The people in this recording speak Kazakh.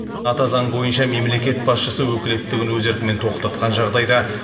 ата заң бойынша мемлекет басшысы өкілеттігін өз еркімен тоқтатқан жағдайда